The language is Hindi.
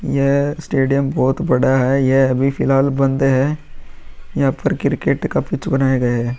यह स्टेडियम बोहोत बड़ा है। यह अभी फिलहाल बंद है। यहाँ पर क्रिकेट का पिच बनाया गया है।